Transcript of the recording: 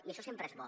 i això sempre és bo